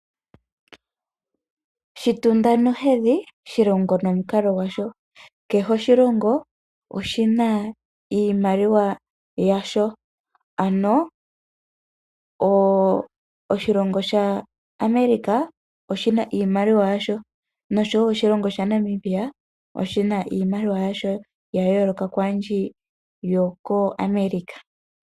Shitunda nohedhi, shilongo nomukalo gwasho. Kehe oshilongo oshina iimaliwa yasho, ano oshilongo sha America oshina iimaliwa yasho, noshowo oshilongo sha Namibia oshina iimaliwa yasho ya yooloka kwambi yoko America.